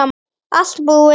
Allt búið